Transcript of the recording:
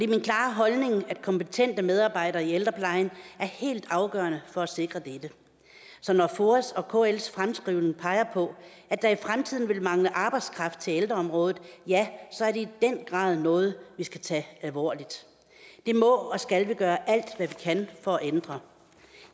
min klare holdning at kompetente medarbejdere i ældreplejen er helt afgørende for at sikre dette så når foa og kls fremskrivning peger på at der i fremtiden vil mangle arbejdskraft til ældreområdet ja så er det den grad noget vi skal tage alvorligt det må og skal vi gøre alt hvad vi kan for at ændre